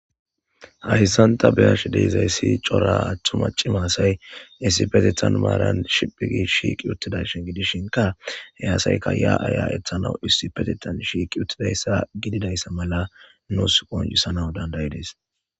hahissanta beyash deizayssi cora aththuma cimaasay issipetitan maaran shiphigi shiiqi uttidashin gidishinka hey asayka ya aya ethanawu issipetitan shiiqi uttidayssa gididayssa mala nuus qoncisana dandayides